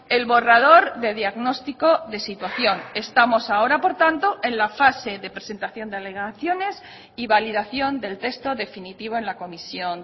el borrador de diagnóstico de situación estamos ahora por tanto en la fase de presentación de alegaciones y validación del texto definitivo en la comisión